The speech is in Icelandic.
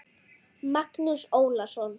Magnús Ólason.